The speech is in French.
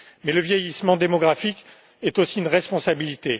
Le vieillissement démographique est aussi une responsabilité